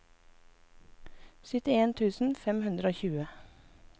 syttien tusen fem hundre og tjue